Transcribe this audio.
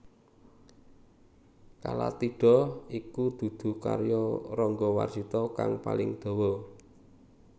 Kalatidha iku dudu karya Rangga Warsita kang paling dawa